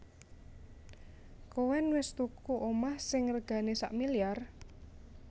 Koen wes tuku omah sing regane sakmiliar?